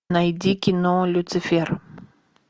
найди кино люцифер